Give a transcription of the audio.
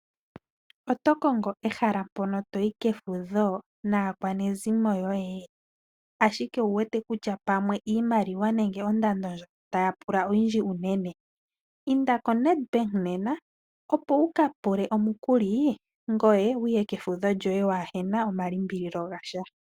Otokongo ehala mpono toyi kefudho naakwanezimo yoye? Ashike owu wete pamwe iimaliwa nenge ondando ndjono taya pula oyindji uunene, inda koNedbank nena, opo wuka pule omukuli ngoye wuye kefudho lyoye waa hena omalimbililo gasha.